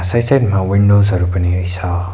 Side side मा windows हरू पनि रहेछ।